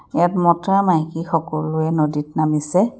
ইয়াত মতা মাইকী সকলোৱে নদীত নামিছে।